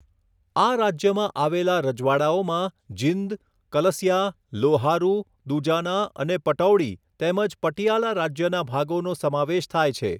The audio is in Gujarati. આ રાજ્યમાં આવેલા રજવાડાઓમાં જીંદ, કલસિયા, લોહારુ, દુજાના અને પટૌડી તેમજ પટિયાલા રાજ્યના ભાગોનો સમાવેશ થાય છે.